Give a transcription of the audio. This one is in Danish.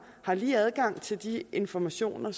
har lige adgang til de informationer